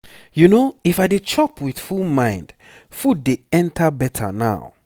you know if i dey chop with full mind food dey enter better now.